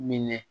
Minɛ